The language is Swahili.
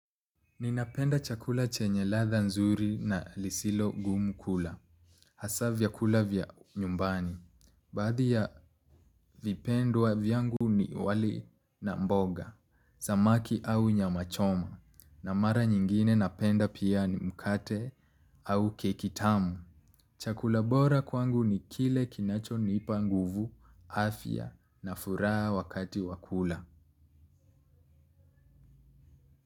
Ninapenda chakula chenye ladha nzuri na lisilo gumu kula. Hasa vyakula vya nyumbani. Baadhi ya vipendwa vyangu ni wali na mboga, samaki au nyama choma. Na mara nyingine napenda pia ni mkate au keki tamu. Chakula bora kwangu ni kile kinachonipanguvu, afya na furaha wakati wa kula.